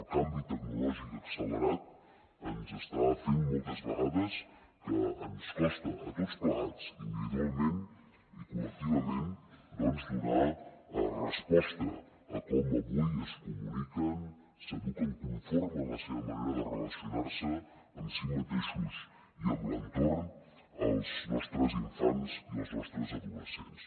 el canvi tecnològic accelerat ens està fent moltes vegades que ens costa a tots plegats individualment i col·lectivament doncs donar resposta a com avui es comuniquen s’eduquen conformen la seva manera de relacionar se amb si mateixos i amb l’entorn els nostres infants i els nostres adolescents